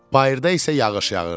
Bayırda isə yağış yağırdı.